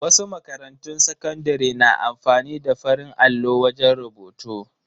Wasu makarantun sakandare na amfani ne da farin allo wajen rubutu.